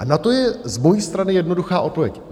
A na to je z mojí strany jednoduchá odpověď.